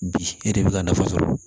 Bi e de bɛ ka nafa sɔrɔ